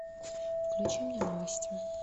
включи мне новости